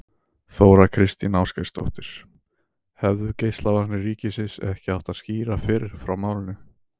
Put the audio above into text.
Þóra Kristín Ásgeirsdóttir: Hefðu Geislavarnir ríkisins ekki átt að skýra fyrr frá málinu?